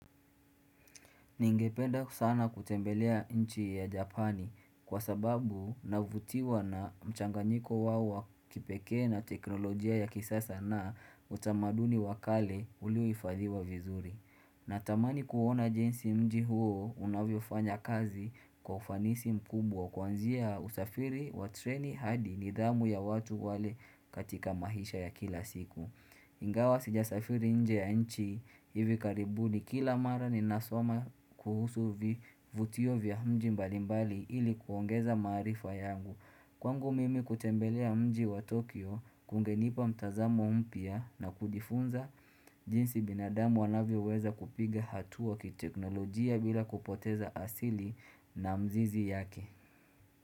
Ningependa sana kutembelea nchi ya Japani kwa sababu navutiwa na mchanganyiko wao wa kipeke na teknolojia ya kisasa na utamaduni wakale uliyohifadhiwa vizuri. Natamani kuona jinsi mji huo unavyofanya kazi kwa ufanisi mkubwa kwanzia usafiri wa treni hadi nidhamu ya watu wale katika maisha ya kila siku. Ingawa sijasafiri nje ya nchi hivi karibuni kila mara ninasoma kuhusu vivutio vya mji mbalimbali ili kuongeza maarifa yangu. Kwangu mimi kutembelea mji wa Tokyo kungenipa mtazamo mpya na kujifunza jinsi binadamu wanavyoweza kupiga hatua kiteknolojia bila kupoteza asili na mzizi yake.